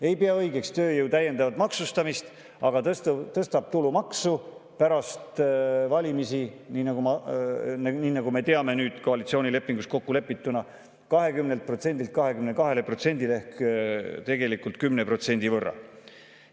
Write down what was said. Ei pea õigeks tööjõu täiendavat maksustamist, aga tõstab tulumaksu pärast valimisi, nii nagu me teame nüüd koalitsioonilepingus kokkulepitust, 20%‑lt 22%‑le ehk tegelikult 10% võrra.